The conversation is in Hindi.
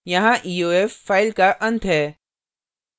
यहाँ eof file का अंत है